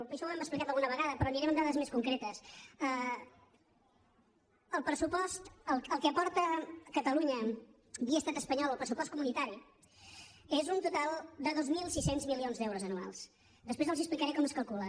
això ho hem explicat alguna vegada però aniré amb dades més concretes el que aporta catalunya via estat espanyol al pressupost comunitari és un total de dos mil sis cents milions d’euros anuals després els explicaré com es calcula